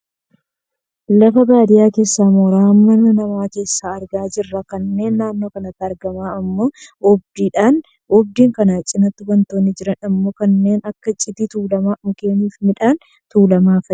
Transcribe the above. Lafa baadiyyaa keessaa mooraa mana namaa keessa argaa jirra. Kan naannoo kanatti argamu ammoo oogdiidha, oogdii kana cinaattii wantootni jiran ammoo kanneen akka cidii tuullamaa, mukeen fi midhaan tuullamaa fa'idha.